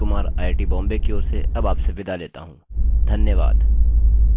मैं रवि कुमार आईआईटीबॉम्बे की ओर से अब आपसे विदा लेता हूँ धन्यवाद